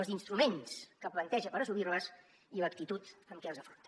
els instruments que planteja per assolir les i l’actitud amb què els afronta